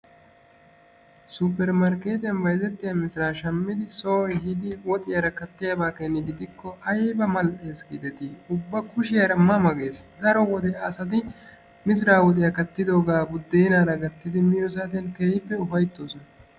Superemarkkertiyan bayźzetiya misira shammidi soo ehidi woxiyaara kaatiyaaba keeni gidikko aybba mal"ees gideti! Ubba kushiyaara ma ma gees. Daro wode asati misira woxiyaa kàttidooga buddenaara gattidi miyo saatiyaan keehippe ufayttoosoan.